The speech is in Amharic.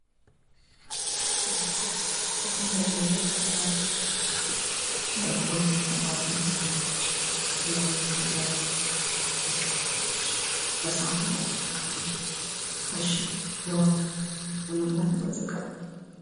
ቬጀቴሪያንነትና ቪጋኒዝም የእንስሳት ተዋጽኦዎችን የማይጠቀሙ የምግብ ምርጫዎች ሲሆኑ የራሳቸው ጥቅሞች አሏቸው።